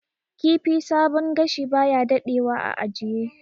Kifi sabon gashi baya dadewa a ajiye